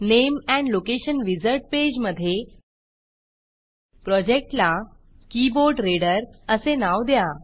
name and location name and location wizard पेजमधे प्रोजेक्टला keyboard reader असे नाव द्या